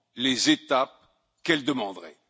les étapes qu'elle demanderait?